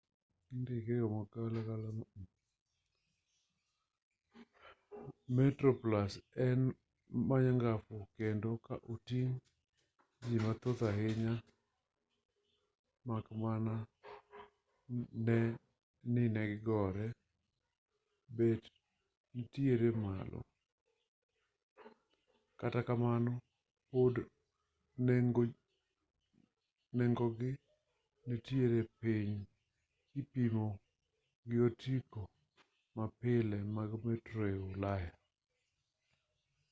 metroplus en ma nyangafu kendo ok oting' ji mathoth ahinya mak mana ni nengone bet nitiere malo kata kamano pod nengogi nitiere piny kipimo gi otiko mapile mag metro ei ulaya